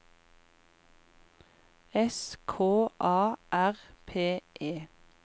S K A R P E